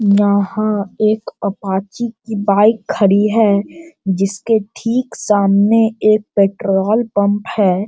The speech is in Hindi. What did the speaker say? यहाँ एक अपाची की बाइक खड़ी है जिसके ठीक सामने एक पेट्रोल पम्प है।